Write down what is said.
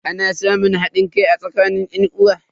Ana samun hadin kai a tsakanin yan'uwa.